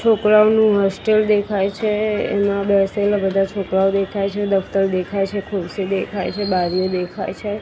છોકરાનું હોસ્ટેલ દેખાય છે એમાં બેસેલા બધા છોકરાઓ દેખાય છે દફતર દેખાય છે ખુરશી દેખાય છે બારીઓ દેખાય છે.